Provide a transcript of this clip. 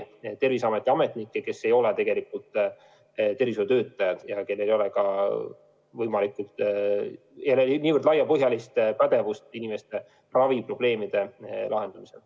Terviseameti ametnikud ei ole tegelikult tervishoiutöötajad ja nendel ei ole nii laiapõhjalist pädevust inimeste raviprobleemide lahendamisel.